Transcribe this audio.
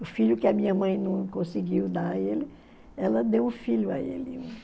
O filho que a minha mãe não conseguiu dar a ele, ela deu o filho a ele.